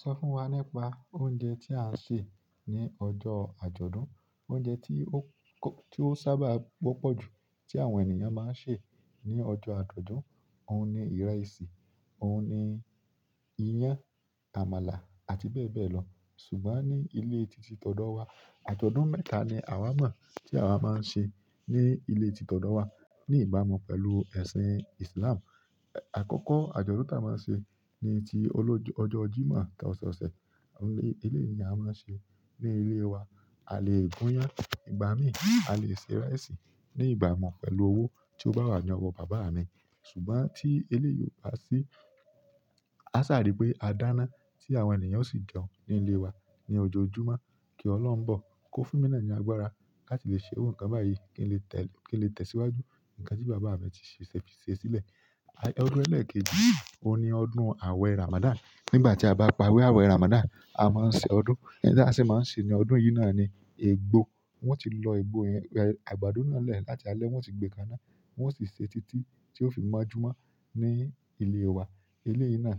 Sọ fún wa nípa oúnjẹ tí a ń sè ní ọjọ́ àjọ̀dún, oúnjẹ tí ó sábà gbopọ̀jù tí àwọn ènìyàn máa ń sè ní ọjọ́ àjọ̀dún, òun ni ìrẹsì, òun ni iyán, àmàlà àti bẹ́ẹ̀ bẹ́ẹ̀ lọ. Ṣùgbọ́n ní ilé tìtìtọ̀dọ̀ wa, àjọ̀dún mẹ́ta ni àwa mo ti awa maa n se ni ile tititodo wa ní ìbámu pẹ̀lú ẹ̀sìn Islam. Àkọ́kọ́ àjọ̀dún tí a máa ń ṣe ni ti ọjọ́ Jímọ̀ ọ̀sẹ̀ọ̀sẹ̀, eleyi la máa ń ṣe ní ilé wa. A lè gún iyán, ìgbà mi, a lè sè rice ní ìgbamo pẹ̀lú owó tí ó bá wà ní ọwọ́ bàbá mi. Ṣùgbọ́n tí eléyi o ba sí, a sáà rí pé a dáná tí àwọn ènìyàn ó sì jẹun ní ilé wa ní ọjọjumo kí Ọlọ́run bọ̀, kó fún mi ní agbára láti lè ṣe iru ikan báyìí kí n lè tẹ̀síwájú nǹkan tí bàbá mi ti ṣe sílẹ̀. Ọdún ẹ̀lẹ́ẹ̀keji òun ni ọdún àwẹ̀ Ramadan. Nígbà tí a bá pa ewé àwẹ̀ Ramadan, a máa ń ṣe ọdún. Ẹni tí a ṣe máa ń ṣe ní ọdún yìí náà ni egbò. Wọ́n ti lọ egbò yẹn, àgbàdo náà lẹ́ẹ̀ láti alẹ́, wọ́n sì gbé káná, wọ́n sì sè títí tí ó fi máa jùmọ́ ní ilé wa. Ilé yìí náà